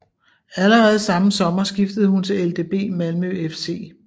Allerede samme sommer skiftede hun til LdB Malmö FC